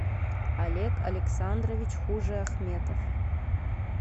олег александрович хужиахметов